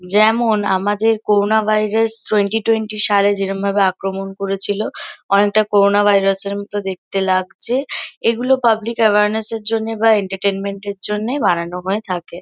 যেমন আমাদের corona virus twenty twenty সালে যেরমভাবে আক্রমণ করেছিল অনেকটা করোনা ভাইরাস -এর মতো দেখতে লাগছে এগুলো পাবলিক অ্যাওর্নেস -এর জন্যে বা এন্টারটেইনমেন্ট -এর জন্যে বানানো হয়ে থাকে।